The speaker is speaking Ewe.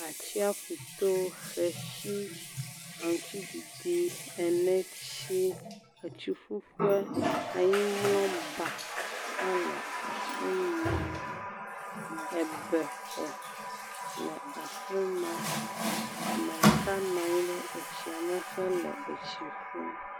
Atsiaƒu to, xexi, aŋuti ɖiɖi, eneti, tsiƒuƒe, anyimlɔba hã le fi ma, bɛ xɔ le afi ma, ame ɖeka nɔ anyi ɖe tsia me hele tsi ƒum.